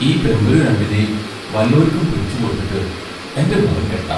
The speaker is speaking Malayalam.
ഈ പെമ്പുരു രണ്ടിനേം വല്ലോരിക്കും പിടിച്ചുകൊടുത്തിട്ട് എന്റെ മോന് കെട്ടാം.